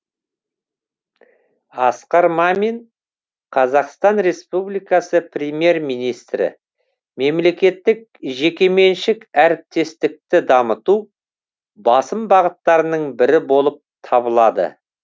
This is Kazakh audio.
асқар мамин қр премьер министрі мемлекеттік жекеменшік әріптестікті дамыту басым бағыттарының бірі болып табылады